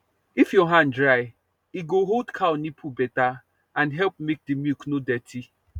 if your hand dry e go hold cow nipple better and help make the milk no dirty